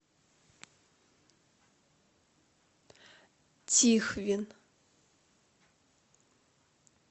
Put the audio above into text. тихвин